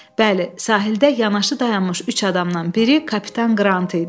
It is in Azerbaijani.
Bəli, sahildə yanaşı dayanmış üç adamdan biri Kapitan Qrant idi.